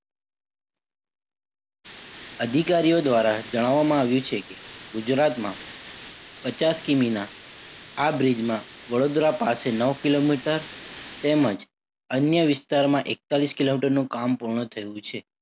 અધિકારીઓ દ્વારા જણાવવામાં આવ્યું છે કે ગુજરાતમાં પચાસ કિમીના આ bridge માં વડોદરા પાસે નવ કિલોમીટર તેમજ અન્ય વિસ્તારમાં એકતાલીસ કિલોમીટરનું કામ પૂર્ણ થયું છે.